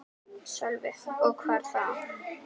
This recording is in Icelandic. Sölvi: Og hvar þá?